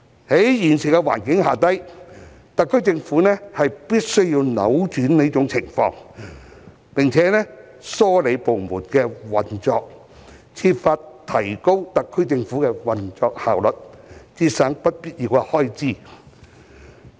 在現時的環境下，特區政府必須扭轉這種情況，並梳理部門的運作，設法提高特區政府的運作效率，節省不必要的開支。